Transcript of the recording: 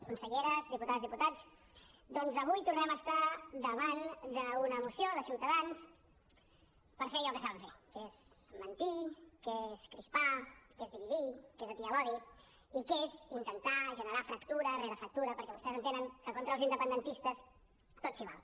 conselleres diputades diputats avui tornem a estar davant d’una moció de ciutadans per fer allò que saben fer que és mentir que és crispar que és dividir que és atiar l’odi i que és intentar generar fractura rere fractura perquè vostès entenen que contra els independentistes tot s’hi val